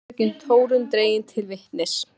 Sama fröken Þórunn dregin til vitnis.